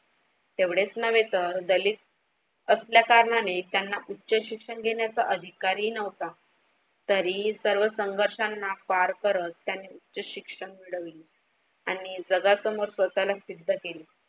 तेव्हडेच न्हवे तर असल्या कारणाने त्यांना उच्च शिक्षण घेण्याचा अधिकारही न्हवता, तरी ही सर्व संघर्षांना पार करत त्यांनी उच्च शिक्षण घडविले आणि जगासमोर स्वतःला सिद्ध केले.